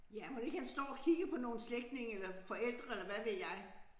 Ja mon ikke han står og kigger på nogle slægtninge eller forældre eller hvad ved jeg